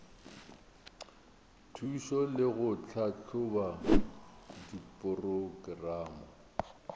thušo le go tlhahloba diporokerama